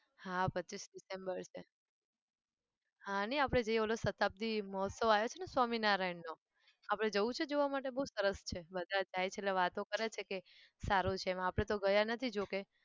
હા પચ્ચીસ december છે. હા ને આપણે જે પેલો સતાબ્દી મહોત્સવ આવ્યો છે ને સ્વામિનારાયણનો આપણે જવું છે જોવા માટે? બહુ સરસ છે બધા જાય છે એટલે વાતો કરે છે કે સારો છે આપણે તો ગયા નથી જો કે.